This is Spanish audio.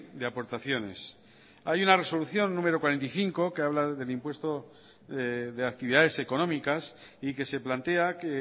de aportaciones hay una resolución número cuarenta y cinco que habla del impuesto de actividades económicas y que se plantea que